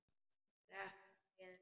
Skrepp bara niður.